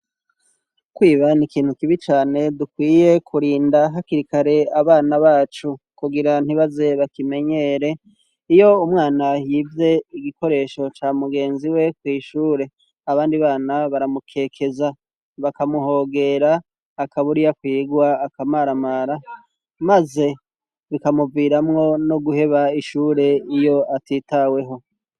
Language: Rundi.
Kwiba, n'ikintu kibi cane dukwiye kurinda hakirikare abana bacu, kugira ntibaze bakimenyere, iyo umwana yivye igikoresho ca mugenzi we kw'ishure, abandi bana baramukekeza bakamuhogera akabura iyo akwigwa, akamaramara, maze bikamuviramwo no guheba ishure iyo atitaweho.